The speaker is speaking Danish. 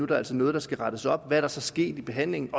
der altså noget der skal rettes op er der så sket i behandlingen